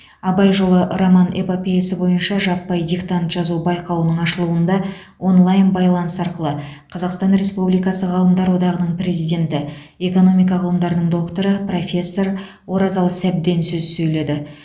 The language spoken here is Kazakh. абай жолы роман эпопеясы бойынша жаппай диктант жазу байқауының ашылуында онлайн байланыс арқылы қазақстан республикасы ғалымдар одағының президенті экономика ғылымдарының докторы профессор оразалы сәбден сөз сөйледі